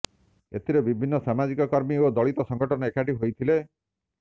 ଏଥିରେ ବିଭିନ୍ନ ସାମାଜିକ କର୍ମୀ ଓ ଦଳିତ ସଂଗଠନ ଏକାଠି ହୋଇଥିଲେ